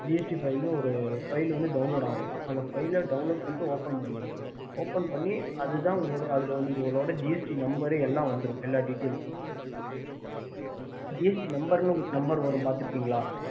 gst file download பண்ணிட்டு open பண்ணுங்க அதுல உங்களோட gst number எல்லாமே வந்துடும் gst number வரும் பாத்து இருக்கீங்களா